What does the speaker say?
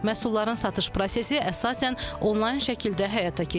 Məhsulların satış prosesi əsasən onlayn şəkildə həyata keçirilir.